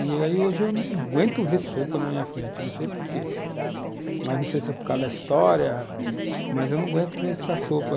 E hoje eu não aguento ver sopa na minha frente, não sei por quê, mas não sei se é por causa da história, mas eu não aguento ver essa sopa.